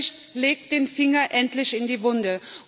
Dieser Bericht legt den Finger endlich in die Wunde.